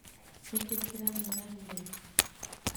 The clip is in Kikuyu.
Nĩkĩĩ kĩramũragire